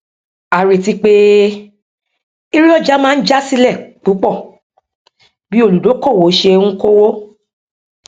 a retí pé èrè ọjà máa já sílẹ púpọ bí olùdókóòwò ṣe ń kówó